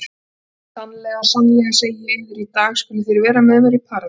Sannlega, sannlega segi ég yður, í dag skuluð þér vera með mér í Paradís.